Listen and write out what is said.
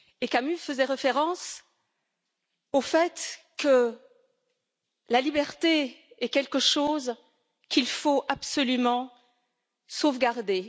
Camus faisait référence au fait que la liberté est quelque chose qu'il faut absolument sauvegarder.